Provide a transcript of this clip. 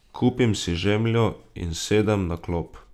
Kupim si žemljo in sedem na klop.